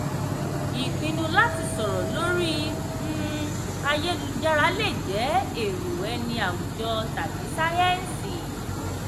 ìpinnu láti sọ̀rọ̀ lórí um ayélujára lè jẹ́ èrò ẹni awùjọ tàbí sáyẹ́ǹsì.